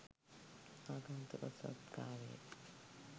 ආගන්තුක සත්කාරයෙත්